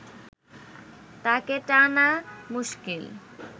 তাকে টানা মুশকিল